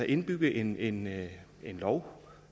indbygge en indbygge en lov